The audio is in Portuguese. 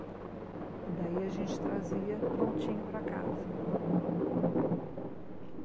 E daí a gente trazia prontinho para casa.